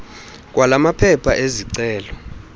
kwala maphepha ezicelo